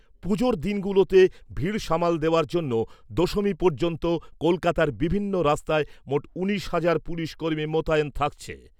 পুজোর দিনগুলোতে ভিড় সামাল দেওয়ার জন্য দশমী পর্যন্ত কলকাতার বিভিন্ন রাস্তায় মোট উনিশ হাজার পুলিশ কর্মী মোতায়েন থাকছে।